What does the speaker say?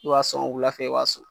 Ib'a sɔn wula fɛ , i b'a sɔn